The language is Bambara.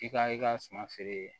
I ka i ka suma feere